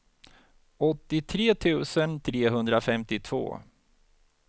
åttiotre tusen trehundrafemtiotvå